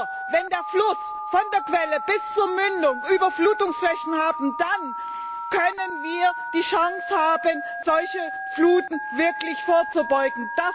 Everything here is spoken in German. Nur wenn die Flüsse von der Quelle bis zur Mündung Überflutungsflächen haben, dann haben wir die Chance, solchen Fluten wirklich vorzubeugen.